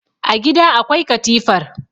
a gida akwai katifar